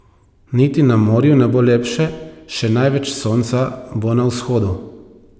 Niti na morju ne bo lepše, še največ sonca bo na vzhodu.